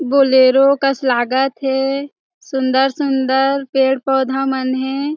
Bolero कस लागत हे सुन्दर-सुन्दर पेड़-पौधा मन हे ।